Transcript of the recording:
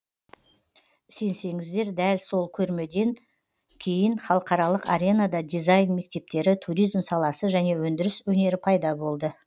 сенсеңіздер дәл сол көрмеден кейін халықаралық аренада дизайн мектептері туризм саласы және өндіріс өнері пайда болды